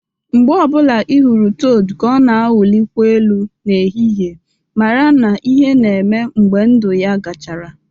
Mgbe ọ bụla ị hụrụ toad ka ọ na-awụlikwa elu n'ehihie, mara na ihe na-eme mgbe ndụ ya gachara